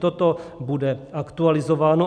Toto bude aktualizováno.